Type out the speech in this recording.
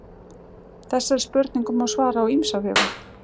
þessari spurningu má svara á ýmsa vegu